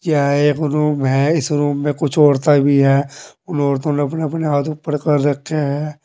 यह एक रूम है इस रूम में कुछ औरतें भी हैं उन औरतों ने अपने अपने हाथ ऊपर कर रखे हैं।